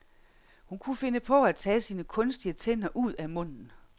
Hun kunne finde på at tage sine kunstige tænder ud af munden.